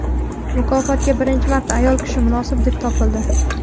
Mukofotga birinchi marta ayol kishi munosib deb topildi.